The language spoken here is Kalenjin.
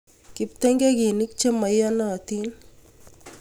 Kiptengekinik che maiyonoitin